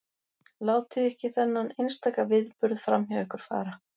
Látið ekki þennan einstaka viðburð framhjá ykkur fara.